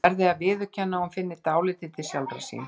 Og verði að viðurkenna að hún finni dálítið til sjálfrar sín.